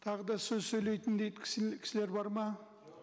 тағы да сөз сөйлейтіндей кісілер бар ма